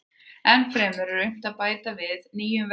Ennfremur verður unnt að bæta við það nýjum verkum.